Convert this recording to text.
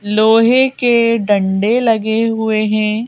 लोहे के डंडे लगे हुए हैं।